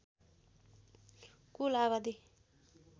कुल आबादी